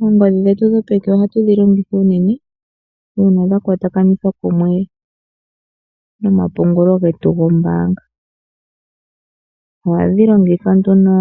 Oongodhi dhetu dhopeke ohatu dhilongitha unene uuna dhakwatakanithwa kumwe nomapungulo getu gombaanga . Ohadhi longithwa nduno